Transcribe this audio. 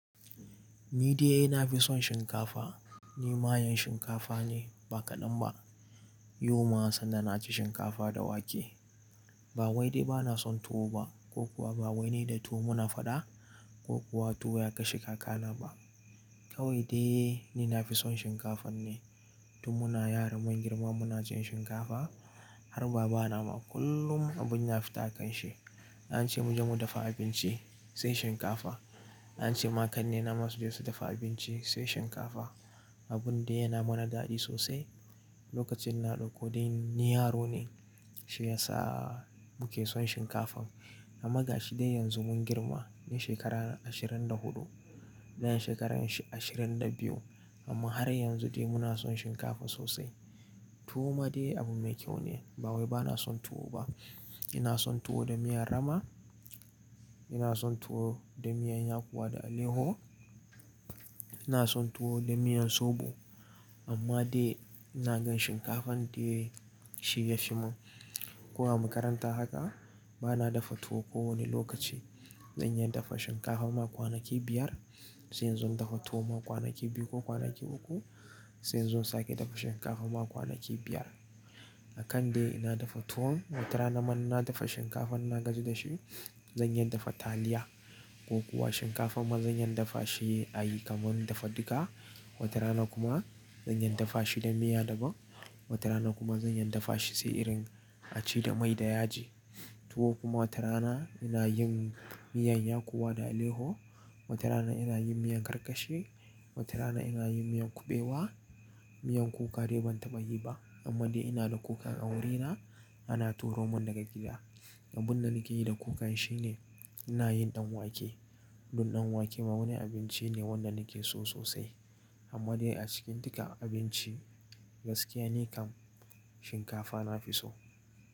Ni dai na fi son shinkafa. Ni mayan shinkafa ne ba kaɗan ba. Yau ma sanda na ci shinkafa da wake. Ba wai dai ba na son tuwo ba ko kuwa ba wai ne da tuwo muna faɗa ko kuwa tuwo ya kashe kakana ba. Kawai dai ni na fi son shinkafan ne. Tun muna yara mun girma muna cin shinkafa. Har baba na ma kullum abun ya fita a kanshi, an ce mu je mu dafa abinci, sai shinkafa. An ce ma kannena ma suje su dafa abinci sai shinkafa. Abun dai yana mana daɗi sosai. Lokacin na ɗauko dai ni yaro ne, shi ya sa mu ke son shinkafan. Amma ga shi dai yanzu mun girma. Daya shekara ashirin da huɗu, dayan shekaran shi ashirin da biyu. Amma har yanzu dai muna son shinkafa sosai. Tuwo ma dai abu mai kyau ne. Ba wai ba na son tuwo ba. Ina son tuwo da miyan rama. Ina son tuwo da miyan yakuwa da aleho. Ina son tuwo da miyan soɓo. Amma dai ina gan shinkafan dai shi ya fi mun. Ko a makaranta haka, ba na dafa tuwo kowani lokaci. Zan iya dafa shinkafa ma kwanaki biyar, sai in zo in dafa tuwo ma kwanaki biyu ko kwanaki uku, sai in zo sake dafa shinkafa ma kwanaki biyar. Akan dai ina dafa tuwon, watarana man na dafa shinkafan in na gaji da shi, zan iya dafa taliya ko kuwa shinkafa ma zanyi dafa shi ayi kaman dafa duka. Watarana kuma zan iya dafa shi da miya daban. Watarana kuma zanyi dafa shi sai irin a ci da mai da yaji. Tuwo kuma watarana ina yin miyan yakuwa da aleho. Watarana ina yin miyan karkashe. Watarana ina yin miyan kuɓewa. Miyan kuka dai ban taɓa yi ba. Amma dai ina da kuka a wurina, ana turo mun daga gida. Abun da nake yi da kukan shine ina yin ɗan wake. Dun ɗan wake ma wani abinci ne wanda nake so sosai. Amma dai a cikin duka abinci, gaskiya ne kam shinkafa na fi so.